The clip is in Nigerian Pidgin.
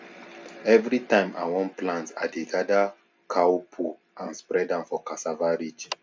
every time i wan plant i dey gather cow poo and spread am for cassava ridge